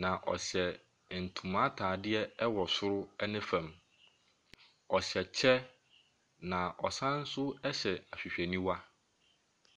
na ɔhyɛ ntoma ataseɛ wɔ soro ne fam. Ɔhyɛ kyɛ, na ɔsane nso hyɛ ahwehwɛniwa.